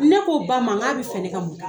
Ne k'o Ba ma n ka bi fɛ, ne ka mun